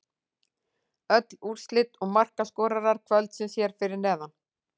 Öll úrslit og markaskorarar kvöldsins hér fyrir neðan: